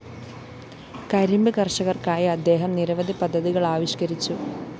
കരിമ്പ്‌ കര്‍ഷകര്‍ക്കായി അദ്ദേഹം നിരവധി പദ്ധതികളാവിഷ്കരിച്ചു